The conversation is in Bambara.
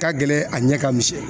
Ka gɛlɛn a ɲɛ ka misɛn.